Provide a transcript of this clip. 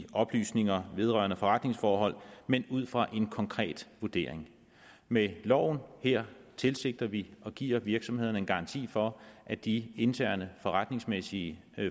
i oplysninger vedrørende forretningsforhold men ud fra en konkret vurdering med loven her tilsigter vi og giver virksomhederne en garanti for at de interne forretningsmæssige